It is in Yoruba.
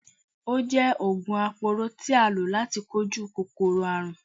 Ó jẹ oògùn aporó tí a lò láti kojú kòkòrò àrùn.